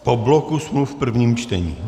Po bloku smluv v prvním čtení.